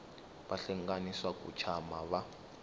vahlengani swa ku tshama va